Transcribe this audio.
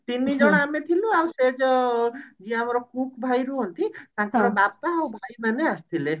ତିନିଜଣ ଆମେ ଥିଲୁ ଆଉ ସେ ଯୋଉ ଯେ ଆମର cook ଭାଇ ରୁହନ୍ତି ତାଙ୍କର ବାପା ଆଉ ଭାଇ ଆସିଥିଲେ